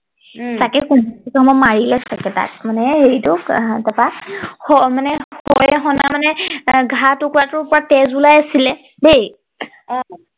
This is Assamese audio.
উম তাকে কোনোবাই মাৰিলে চাগে তাক মানে হেৰিটো মানে মানে ঘা টুকুৰা পৰা পুৰা তেজ ওলাই আছিলে দেই অ